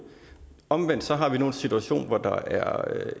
omvendt har vi nu en situation hvor der er